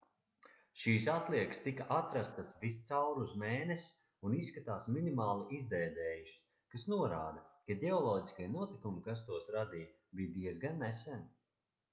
šīs atliekas tika atrastas viscaur uz mēness un izskatās minimāli izdēdējušas kas norāda ka ģeoloģiskie notikumi kas tos radīja bija diezgan nesen